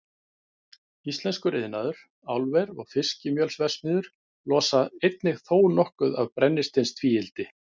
Íslenskur iðnaður, álver og fiskimjölsverksmiðjur losa einnig þónokkuð af brennisteinstvíildi.